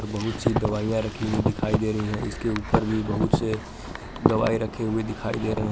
बहुत सी दवाइयां रखी हुई दिखाई दे रही हैं इसके ऊपर भी बहुत से दवाएं रखे हुए दिखाई दे रहे --